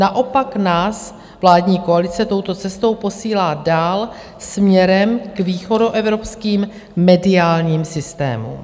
Naopak nás vládní koalice touto cestou posílá dál směrem k východoevropským mediálním systémům.